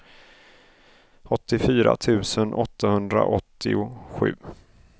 åttiofyra tusen åttahundraåttiosju